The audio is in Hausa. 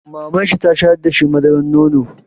Mamanshi ta shayar da shi madarar nono.